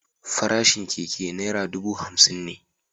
Farashin keke naira dubu hamsin ne.